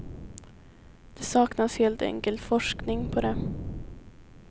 Det saknas helt enkelt forskning på det.